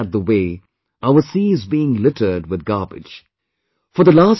They were appalled at the way our sea is being littered with garbage